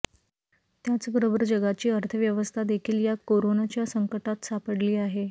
त्याचबरोबर जगाची अर्थव्यवस्था देखील या कोरोनाच्या संकटात सापडली आहे